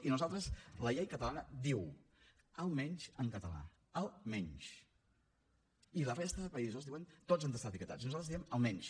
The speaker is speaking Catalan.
i nosaltres la llei catalana diu almenys en català almenys i la resta de països diuen tots han d’estar etiquetats nosaltres diem almenys